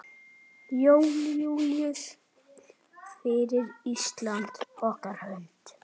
Jón Júlíus: Fyrir Íslandi?